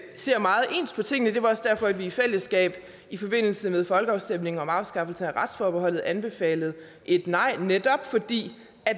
ser meget ens på tingene det var også derfor at vi i fællesskab i forbindelse med folkeafstemningen om afskaffelse af retsforbeholdet anbefalede et nej netop fordi